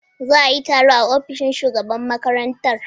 Za a yi taro a ofishin shugaban makarantar.